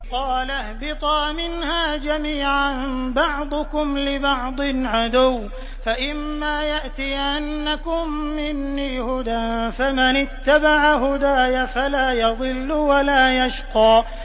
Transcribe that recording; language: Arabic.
قَالَ اهْبِطَا مِنْهَا جَمِيعًا ۖ بَعْضُكُمْ لِبَعْضٍ عَدُوٌّ ۖ فَإِمَّا يَأْتِيَنَّكُم مِّنِّي هُدًى فَمَنِ اتَّبَعَ هُدَايَ فَلَا يَضِلُّ وَلَا يَشْقَىٰ